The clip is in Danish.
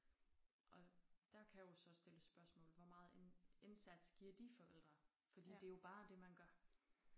Og der kan jo så stilles spørgsmål hvor meget ind indsats giver de forældre fordi det jo bare det man gør